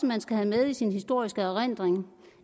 man skal have med i sin historiske erindring